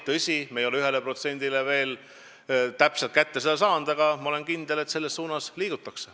Tõsi, me ei ole 1% veel kätte saanud, aga ma olen kindel, et selles suunas liigutakse.